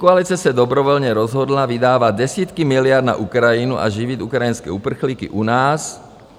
Pětikoalice se dobrovolně rozhodla vydávat desítky miliard na Ukrajinu a živit ukrajinské uprchlíky u nás.